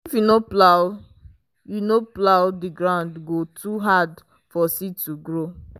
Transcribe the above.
if you no plow you no plow the ground go too hard for seed to grow.